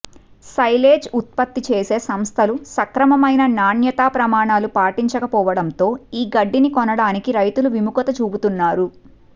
silage ఉత్పత్తి చేసే సంస్థలు సక్రమమైన నాణ్యతాప్రమాణాలు పాటించకపోవడంతో ఈ గడ్డిని కొనటానికి రైతులు విముఖత చూపుతున్నారు